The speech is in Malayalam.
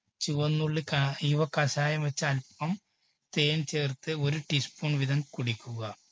ചുവന്നുള്ളി കാ ഇവ കഷായം വെച്ച് അല്പം തേൻ ചേർത്ത് ഒരു teaspoon വീതം കുടിക്കുക.